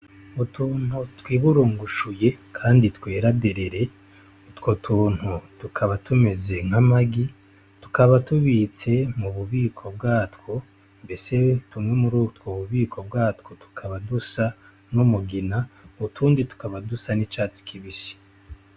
Utuntu twiburungushuye candi twera derere. Utwo tuntu tukaba tumeze nk'amagi. Tukaba tubitse mu bubiko bwatwo. Mbese tumwe murutwo bubiko bwatwo tukaba dusa n'umugina, utundi tukaba dusa n'icatsi kibisi.